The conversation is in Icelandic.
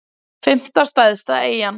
fimmta stærsta eyjan